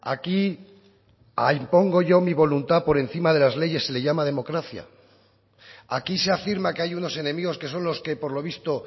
aquí a impongo yo mi voluntad por encima de las leyes se le llama democracia aquí se afirma que hay unos enemigos que son los que por lo visto